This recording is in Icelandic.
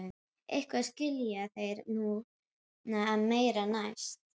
eitthvað skilja þeir núna og meira næst.